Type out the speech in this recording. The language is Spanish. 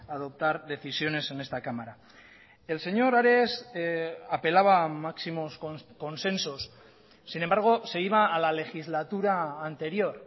adoptar decisiones en esta cámara el señor ares apelaba a máximos consensos sin embargo se iba a la legislatura anterior